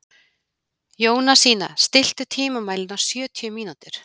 Jónasína, stilltu tímamælinn á sjötíu mínútur.